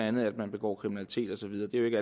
andet at man begår kriminalitet og så videre det er jo ikke